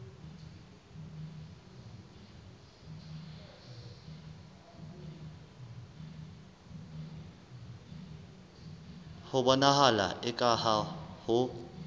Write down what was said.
ho bonahala eka ha ho